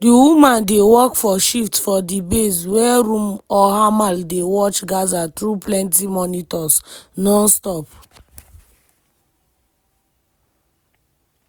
di women dey work for shifts for di base war room or hamal dey watch gaza through plenti monitors non-stop.